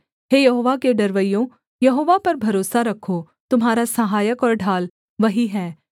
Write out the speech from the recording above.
हे यहोवा के डरवैयों यहोवा पर भरोसा रखो तुम्हारा सहायक और ढाल वही है